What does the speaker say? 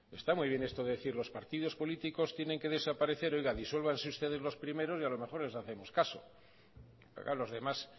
está muy bien esto de decir los partidos políticos tienen que desaparecer oiga disuélvanse ustedes los primeros y a lo mejor les hacemos caso pero claro los demás